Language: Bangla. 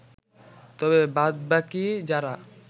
তবে বাদবাকি যারা